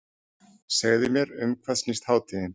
Segðu mér um hvað snýst hátíðin?